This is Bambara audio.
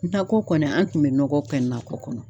N ta ko kɔni an tun bɛ nɔgɔ kɛ n nakɔ kɔnɔ.